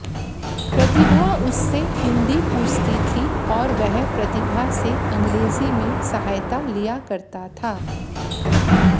प्रतिभा उससे हिन्दी पूछती थी और वह प्रतिभा से अंग्रेजी में सहायता लिया करता था